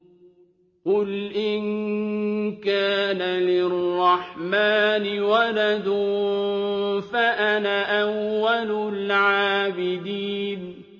قُلْ إِن كَانَ لِلرَّحْمَٰنِ وَلَدٌ فَأَنَا أَوَّلُ الْعَابِدِينَ